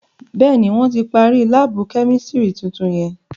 Béèni, wọn tí parí laabu kẹ́místrì tuntun yẹn